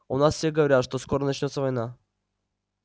у нас все говорят что скоро начнётся война